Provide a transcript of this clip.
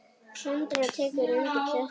Sandra tekur undir þetta.